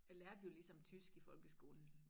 Jeg lærte jo ligesom tysk i folkeskolen